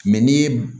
Mɛ n'i ye